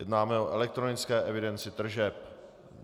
Jednáme o elektronické evidenci tržeb.